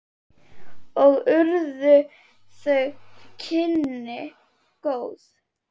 Og urðu þau kynni góð.